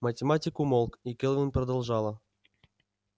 математик умолк и кэлвин продолжала